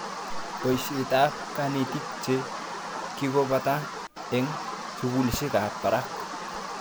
Poishet ab kanetik che kikopata eng' sukulishek ab parak